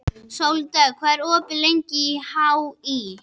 Sóldögg, hvað er opið lengi í HÍ?